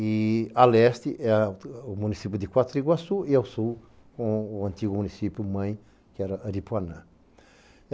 e a leste é o município de Quatriguaçu e ao sul o antigo município-mãe que era Aripuanã.